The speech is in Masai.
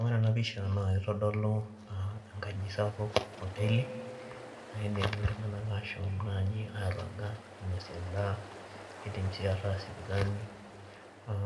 Ore ena pisha naa kitodolu enkaji sapuk aa hoteli pee etum ltunganak ashom naaji naa airaga ainosie endaa eidim sii ataa sipitali